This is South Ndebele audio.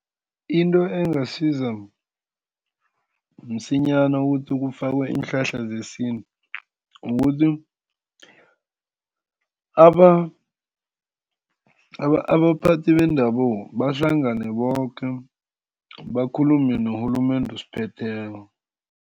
Into engasiza msinyana ukuthi kufakwe iinhlahla zesintu, kukuthi abaphathi bendabuko bahlangane boke bakhulume norhulumende osiphetheko.